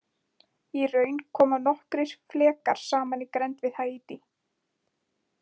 Í raun koma nokkrir flekar saman í grennd við Haítí.